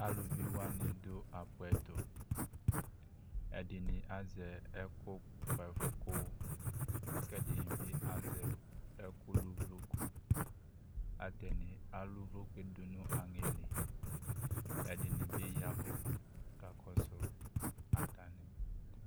Aluvi wanɩ dʋ apʋ ɛtʋ Ɛdɩnɩ azɛ ɛfʋkʋ ɛfʋ kʋ ɛdɩnɩ bɩ azɛ ɛkʋlʋ uvloku Atanɩ alʋ uvloku yɛ dʋ nʋ aŋɛ li Ɛdɩnɩ bɩ ya ɛvʋ kʋ akakɔsʋ atanɩ